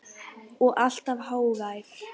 Og alltaf hógvær.